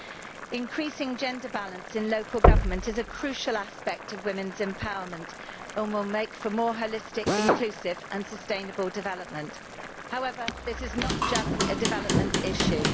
Improving gender balance in local government is a crucial aspect of women's empowerment and will make for more holistic, inclusive and sustainable development. However, this is not just a development issue.